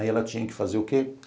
Aí ela tinha que fazer o quê?